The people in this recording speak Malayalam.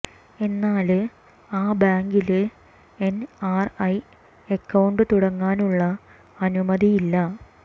എന്നാല് ആ ബാങ്കില് എന് ആര് ഐ അക്കൌണ്ട് തുടങ്ങാനുള്ള അനുമതിയില്ല